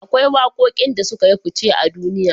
Akwai waƙoƙin da sukayi fuce a duniya